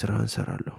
ስራህን ሰራለሁ።